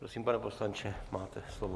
Prosím, pane poslanče, máte slovo.